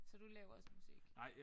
Så du laver også musik